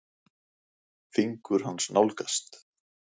Fingur hans nálgast.